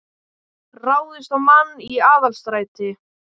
Ráðist á mann í Aðalstræti